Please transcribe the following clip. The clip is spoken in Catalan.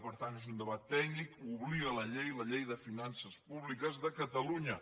per tant és un debat tècnic hi obliga la llei la llei de finances públiques de catalunya